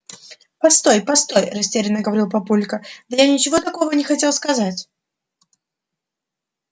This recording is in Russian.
постой постой растеряно говорил папулька да я ничего такого не хотел сказать